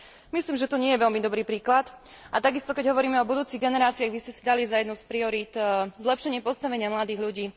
Myslím, že to nie je veľmi dobrý príklad, a takisto, keď hovoríme o budúcich generáciách, vy ste si dali za jednu z priorít zlepšenie postavenia mladých ľudí.